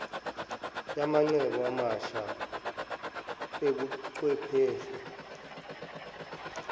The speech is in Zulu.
yamacebo amasha obuchwepheshe